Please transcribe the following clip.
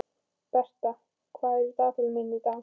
Bertha, hvað er í dagatalinu mínu í dag?